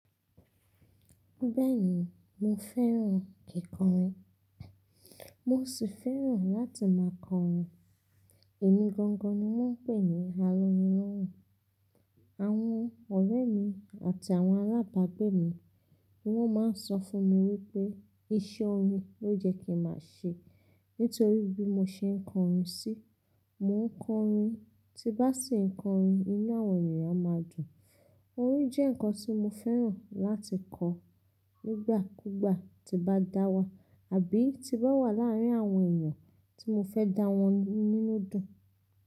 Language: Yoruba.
Bẹ́ẹ̀ni mo fẹ́ràn kikọrin, mo sì fẹ́ràn láti máa kọrin. Èmi gangan ni wọ́n ń pè ní "alóyin lóhun". Àwọn ọ̀rẹ́ mi àti àwọn alábàgbé mi ní wọ́n máa ń sọ fún mi wípé iṣẹ́ orin ló jẹ́ kí màá ṣe nítorí bí mo ṣe ń kọrin síí. Mò ń kọrin, tí bá sì ń kọrin, inú àwọn ènìyàn máa dùn. Orin jẹ́ ǹkan tí mo fẹ́ràn láti kọ nígbàkúgbà tí bá dáwà, àbí tí bá wà láàárín àwọn èèyàn tí mo fẹ́ dá wọn nínú dùn.